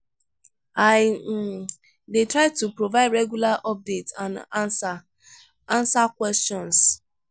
i um dey try to provide regular updates and answer answer questions.